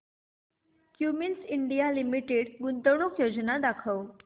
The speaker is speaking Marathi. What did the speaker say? क्युमिंस इंडिया लिमिटेड गुंतवणूक योजना दाखव